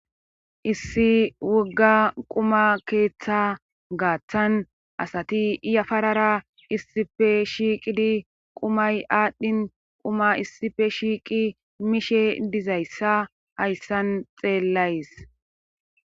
Issi wogga quma keeththa gaaththan asati iyafarara issife shiiqidi qumay aadhdhin quma issife shiiqi mishe dizayssa hayssan xeellays